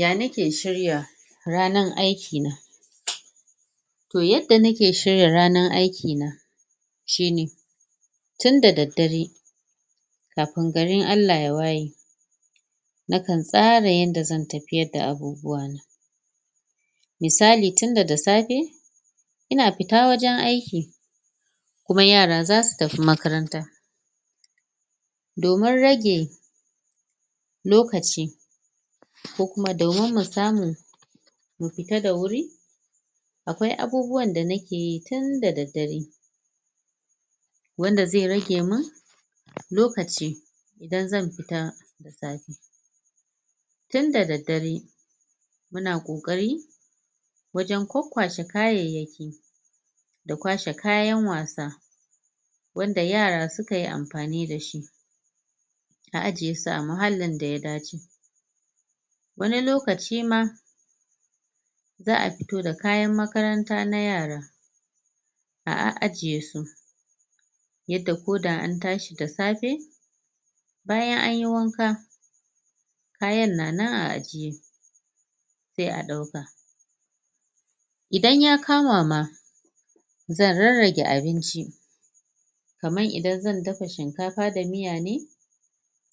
ya nake shirya ranan aiki to yadda nake shirya ranan aikina shine tinda daddare kafin garin Allah ya waye nakan tsara yadda zan tafiyar da abubuwana misali tin daga safe ina fita wajan aiki kuma yara zasu tafi makaranta domin rage lokaci ko kuma domin mu samu mu fita da wuri akwai abubuwan da nakeyi tin da daddare wanda ze ragemun lokaci idan zan fita? tinda daddare muna ƙoƙari wajan kwakkwashe kayaiyaki da kwashe kayan wasa wanda yara sukayi amfani dashi na ajjiyesu a ma hallin daya dace wani lokaci am za afito da kayan makaranta na yara a ah ajjiyesu yadda ko da antashi da safe bayan anyi wanka kayan na nan a ajjiye se aɗauka idan yakama ma zan rarrage abinci kaman idan zan dafa shinkafa da muyane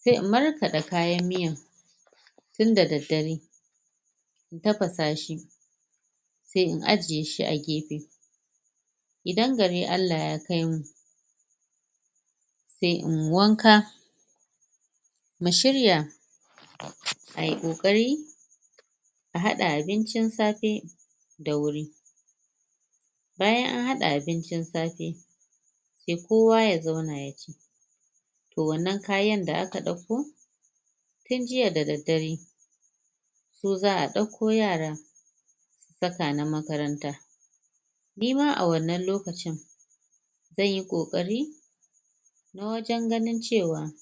se in markaɗa kayan miyan tinda daddare tafasashi se in ajjiyeshi agefe idan gari Allah yakaimu se inyi wanka mu shirya ai ƙoƙari a haɗa abincin safe da wuri bayan an haɗa abinci safe se kowa ya zauna yaci to wannan kayan da aka dauko tin jiya da daddare ko za a ɗauko yara baka na makaranta nima a wannan lokacin zanyi ƙoƙari na wajan ganin cewa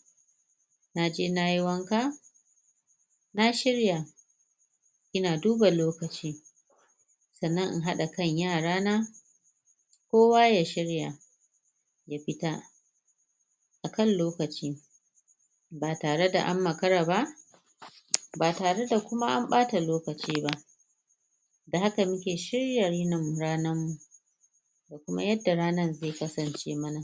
naje nayi wanka na shirya ina duba lokaci sannan in haɗa kan yaran kowa ya shirya ya fita akan lokaci batare da an makaraba ba tare da kuma anɓata lokaci ba da haka muke shirya rini ranan kuma yadda ranan ze kasance mana